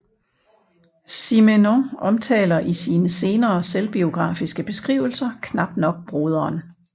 Simenon omtaler i sine senere selvbiografiske beskrivelser knap nok broderen